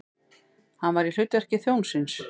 Hann var í hlutverki þjónsins.